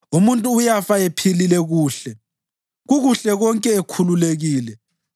Umuntu uyafa ephilile kuhle, kukuhle konke ekhululekile,